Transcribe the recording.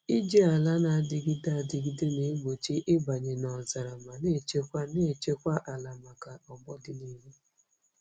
Iji ala na-adịgide adịgide na-egbochi ịbanye n'ọzara ma na-echekwa na-echekwa ala maka ọgbọ n'ọdịnihu.